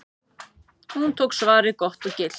Hún tók svarið gott og gilt.